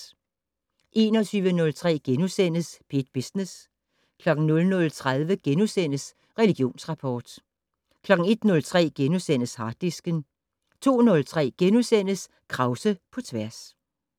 21:03: P1 Business * 00:30: Religionsrapport * 01:03: Harddisken * 02:03: Krause på tværs *